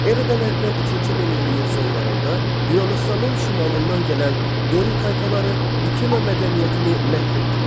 Eradan əvvəl ikinci minilliyin sonlarında Yunanıstanın şimalından gələn Dori tayfaları Mikena mədəniyyətini məhv etdilər.